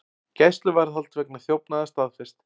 Gæsluvarðhald vegna þjófnaða staðfest